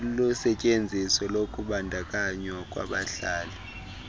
lusetyenziso lokubandakanywa kwabahlali